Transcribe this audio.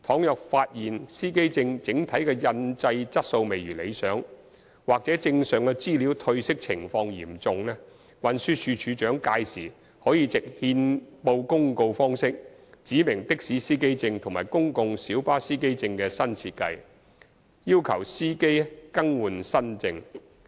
如發現司機證整體的印製質素未如理想或證上資料褪色情況嚴重，運輸署署長屆時可藉憲報公告方式指明的士司機證和公共小巴司機證的新設計，要求司機更換新證。